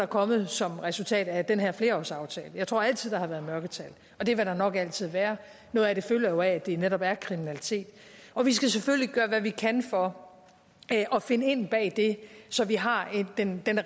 kommet som resultat af den her flerårsaftale jeg tror der altid har været mørketal og det vil der nok altid være noget af det følger jo af at det netop er kriminalitet og vi skal selvfølgelig gøre hvad vi kan for at finde ind bag det så vi har den